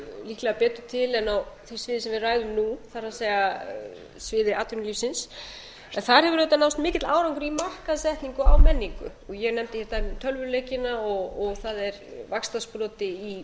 líklega betur til en á því sem sviði sem við ræðum nú það er sviði atvinnulífsins en þar hefur auðitað náðst mikill árangur í markaðssetningu á menningu ég nefndi hér dæmi um tölvuleikina og það er vaxtarsproti í